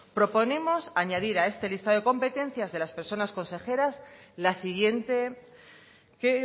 proponemos añadir a este listado de competencias de las personas consejeras la siguiente que